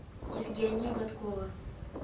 евгения гладкова